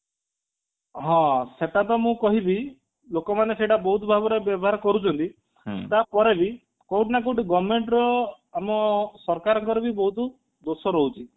ହଁ ସେଟାତ ତ ମୁଁ କହିବି ଲୋକମାନେ ସେଇଟା ବହୁତ ଭାବରେ ବ୍ୟବହାର କରୁଛନ୍ତି ତା ପରେ ବି କୋଊଠି ନା କୋଉଠି government ର ଆମ ସରକାରଙ୍କର ବି ବହୁତ ଦୋଷ ରହୁଛି